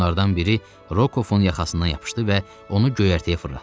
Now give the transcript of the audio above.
Onlardan biri Rokovun yaxasına yapışdı və onu göyərtəyə fırlatdı.